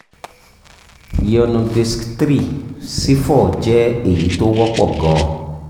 ìyọnu disiki three sí four jẹ́ èyí tó wọ́pọ̀ gan-an